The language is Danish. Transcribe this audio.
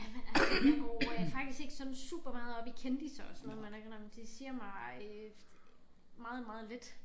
Ja men altså jeg går øh faktisk ikke sådan supermeget op i kendisser og sådan noget må jeg godt nok indrømme det siger mig øh meget meget lidt